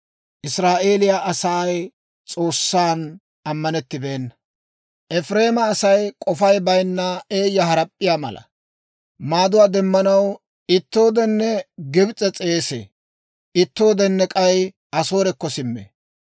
«Efireema Asay k'ofay bayinna eeyya harap'p'iyaa mala. Maaduwaa demmanaw ittooden Gibs'e s'eesee; ittooden k'ay Asoorekko simmee.